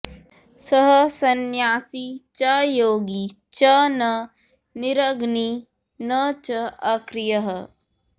सः संन्यासी च योगी च न निरग्निः न च अक्रियः